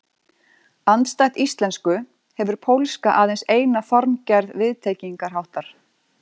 Andstætt íslensku hefur pólska aðeins eina formgerð viðtengingarháttar.